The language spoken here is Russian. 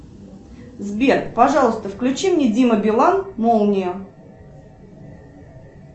сбер пожалуйста включи мне дима билан молния